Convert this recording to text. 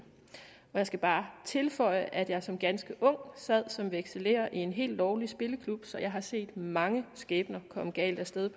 jeg skal bare tilføje at jeg som ganske ung sad som vekselerer i en helt lovlig spilleklub så jeg har set mange skæbner komme galt af sted